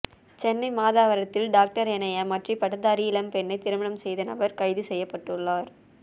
சென்னை மாதவரத்தில் டாக்டர் என ஏமாற்றி பட்டதாரி இளம்பெண்ணை திருமணம் செய்த நபர் கைது செய்யப்பட்டுள்ளார்